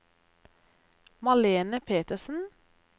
Malene Petersen